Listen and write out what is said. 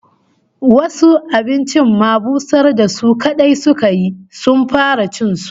Wasu abincin ma busar da su kadai suka yi, suka fara cin su